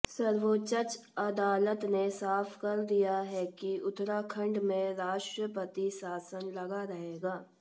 सर्वोच्च अदालत ने साफ कर दिया है कि उत्तराखण्ड में राष्ट्रपति शासन लगा रहेगा